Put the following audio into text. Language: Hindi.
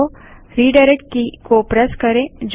एंटर प्रेस करें